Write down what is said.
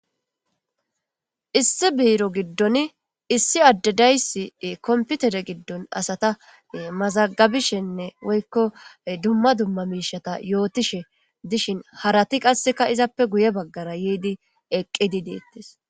issi biiro giddon issi addedaysi komputere giddon asata mazagabishenne woykko dumma dumma miishata yootishe dishin harati qasseka izappe guye baggara yiidi eqqidi deettes